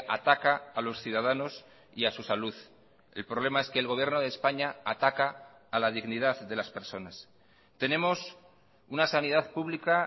ataca a los ciudadanos y a su salud el problema es que el gobierno de españa ataca a la dignidad de las personas tenemos una sanidad pública